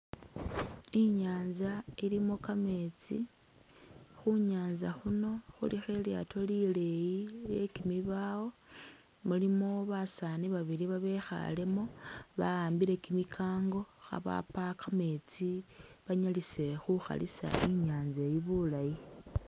I'nyaanza ilimo kameetsi, khu nyaanza khuno khulikho ilyaato lileeyi lye kimibaawo mulimu basaani babili babekhaalemo bahambile kimikango khabapa kameetsi banyalise khukhalisa I'nyaanza eyi bulaayi.